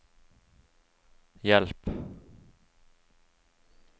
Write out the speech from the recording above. hjelp